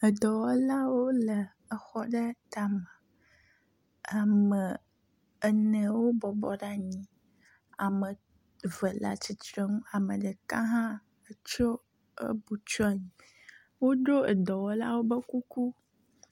Edɔwɔlawo le exɔ aɖe tame. Ame ene wobɔbɔ ɖe anyi ame eve le atitrenu ame ɖeka hã etso ebu tsɔ anyi. Woɖo edɔwɔlawo ƒe kuku.